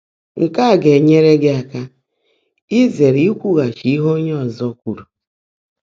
Nkè á gá-ènyèèré gị́ áká ízèèré íkwúgháchi íhe óńyé ọ́zọ́ kwùrú.